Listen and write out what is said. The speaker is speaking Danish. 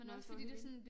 Eller også så det